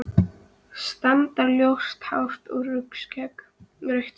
Strandar-ljóst hár og rautt skegg?